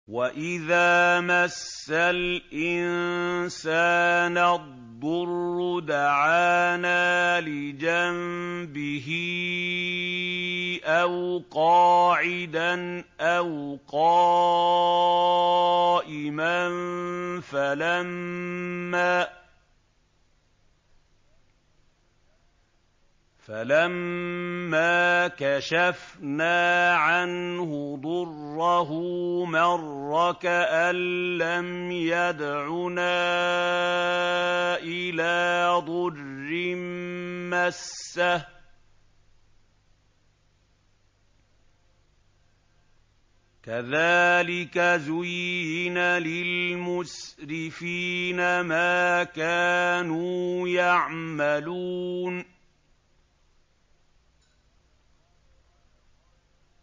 وَإِذَا مَسَّ الْإِنسَانَ الضُّرُّ دَعَانَا لِجَنبِهِ أَوْ قَاعِدًا أَوْ قَائِمًا فَلَمَّا كَشَفْنَا عَنْهُ ضُرَّهُ مَرَّ كَأَن لَّمْ يَدْعُنَا إِلَىٰ ضُرٍّ مَّسَّهُ ۚ كَذَٰلِكَ زُيِّنَ لِلْمُسْرِفِينَ مَا كَانُوا يَعْمَلُونَ